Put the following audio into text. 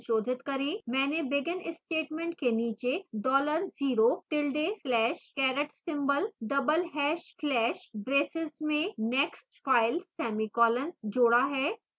मैंने begin statement के नीचे dollar zero tilde slash caret symbol double hash slash braces में nextfile semicolon जोड़ा है